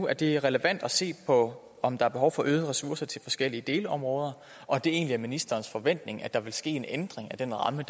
at det er relevant at se på om der er behov for øgede ressourcer til forskellige delområder og at det egentlig er ministerens forventning at der vil ske en ændring af den ramme